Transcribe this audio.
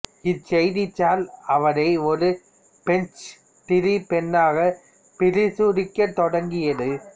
இச்செய்தித்தாள் அவரை ஒரு page three பெண்ணாக பிரசுரிக்கத் தொடங்கியது